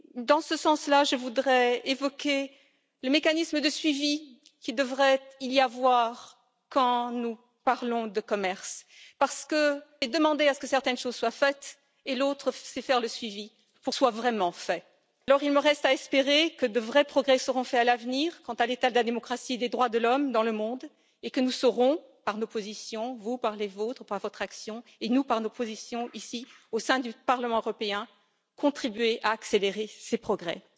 Dans ce sens là, je voudrais évoquer le mécanisme de suivi qu'il devrait y avoir quand nous parlons de commerce parce que demander que certaines choses soient faites est une chose, faire le suivi en est une autre. Il me reste à espérer que de vrais progrès seront faits à l'avenir quant à l'état de la démocratie et des droits de l'homme dans le monde et que nous saurons par nos positions, vous par les vôtres ou par votre action et nous par nos positions ici au sein du Parlement européen, contribuer à accélérer ces progrès.